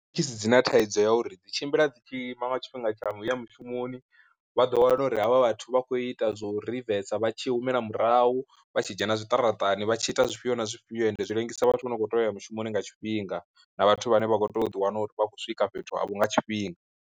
Thekhisi dzi na thaidzo ya uri dzi tshimbila dzi tshi ima nga tshifhinga tsha uya mushumoni, vha ḓo wana uri havha vhathu vha khou ita zwo rivesa vha tshi humela murahu vha tshi dzhena zwiṱaratani vhatshi ita zwifhio na zwifhio ende zwi ḽengisa vhathu vha no khou teya uya mushumoni nga tshifhinga, na vhathu vhane vha kho tea u ḓiwana vha khou swika fhethu avho nga tshifhinga.